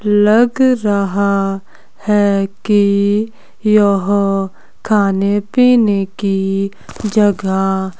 लग रहा है कि यह खाने पीने की जगह--